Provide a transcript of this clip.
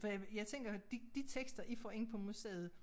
For jeg jeg tænker de de tekster I får ind på museet